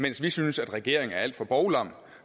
mens vi synes at regeringen er alt for bovlam